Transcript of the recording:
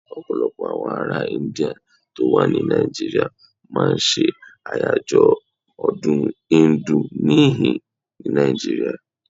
Ọ̀pọ̀lọpọ̀ àwọn ará Íńdíà tó wà ní Nàìjíríà máa ń ṣe àyájọ́ ọdún Íńdù níhìn-ín ní Nàìjíríà.